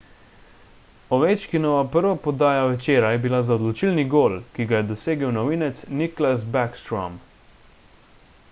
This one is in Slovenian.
ovečkinova prva podaja večera je bila za odločilni gol ki ga je dosegel novinec nicklas backstrom